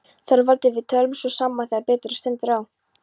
ÞORVALDUR: Við tölum svo saman þegar betur stendur á.